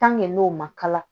n'o ma kala